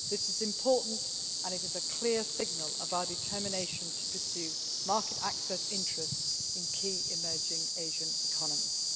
This is important, and it is a clear signal of our determination to pursue market access interest in key emerging Asian economies.